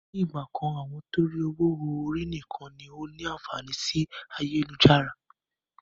Ni ìgbàkan àwọn torí ọwọ họ̀ ọ̀rí nìkan ni ó ní àǹfààní sì ayélujára.